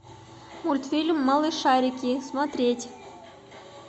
мультфильм малышарики смотреть